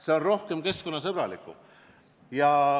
See on keskkonnasõbralikum.